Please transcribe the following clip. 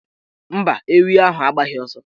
Mba, ewi ahụ agbaghị ọsọ.